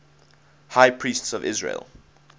high priests of israel